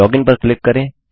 login पर click करें